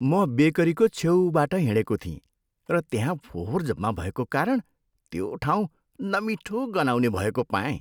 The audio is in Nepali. म बेकरीको छेउबाट हिँडेको थिएँ र त्यहाँ फोहोर जम्मा भएको कारण त्यो ठाउँ नमिठो गनाउने भएको पाएँ।